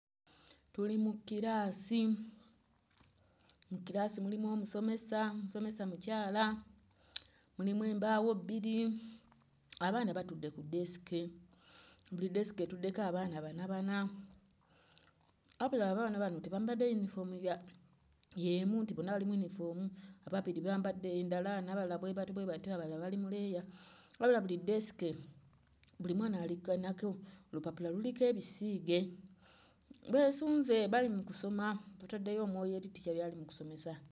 Tuli mu kiraasi. Mu kiraasi mulimu omusomesa, omusomesa mukyala, mulimu embaawo bbiri. Abaana batudde ku ddeesike, buli ddeesike etuddeko abaana bana bana wabula abaana bano tebambadde yunifoomu ya... y'emu nti bonna bali mu yunifoomu. Ababiri bambadde ndala, n'abalala bwe batyo bwe batyo, abalala bali mu leeya. Wabula buli ddeesike buli mwana alinako olupapula luliko ebisiige. Beesunze, bali mu kusoma; bataddeyo omwoyo eri ttica by'ali mu kusomesa.